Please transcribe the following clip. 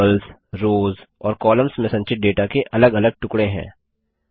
tables rows और columns में संचित डेटा के अलग अलग टुकड़े हैं